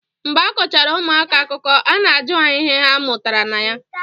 Mgbe a kọchara ụmụaka akụkọ a na-ajụ ha ihe ha mụtara na ya